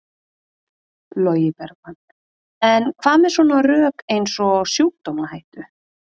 Logi Bergmann: En hvað með svona rök eins og sjúkdómahættu?